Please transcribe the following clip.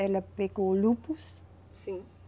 Ela pegou o lúpus. Sim.